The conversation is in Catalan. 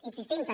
insistim també